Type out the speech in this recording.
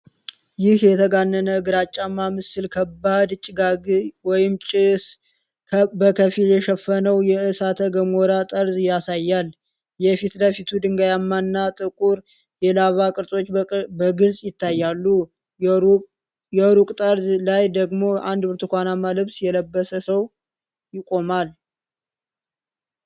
ይህ የተጋነነ ግራጫማ ምስል ከባድ ጭጋግ ወይም ጭስ በከፊል የሸፈነውን የእሳተ ገሞራ ጠርዝ ያሳያል። የፊት ለፊቱ ድንጋያማና ጥቁር የላቫ ቅርጾች በግልጽ ይታያሉ፤ የሩቁ ጠርዝ ላይ ደግሞ አንድ ብርቱካንማ ልብስ የለበሰ ሰው ይቆማል።